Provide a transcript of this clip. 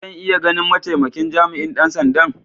Zan iya ganin ma'taimakin jami'in dan sanda'n?